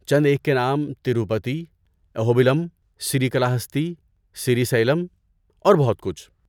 چند ایک کے نام تروپتی، اہوبیلم، سریکلاہستی، سری سیلم اور بہت کچھ